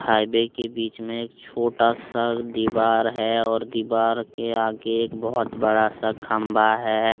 Highway के बीच में एक छोटा सा दीवार है और दीवार के आगे एक बहुत बड़ा सा खंबा है।